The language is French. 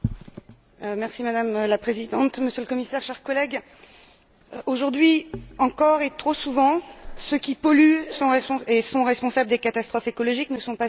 Madame la Présidente, Monsieur le Commissaire, chers collègues, aujourd'hui encore et trop souvent, ceux qui polluent et sont responsables des catastrophes écologiques ne sont pas ceux qui paient.